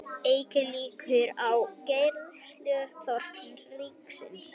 Eykur líkur á greiðsluþroti ríkisins